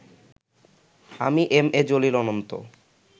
আমি M A Jalil Ananta